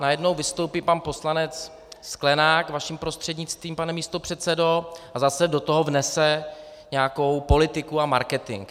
Najednou vystoupí pan poslanec Sklenák vaším prostřednictvím, pane místopředsedo, a zase do toho vnese nějakou politiku a marketing.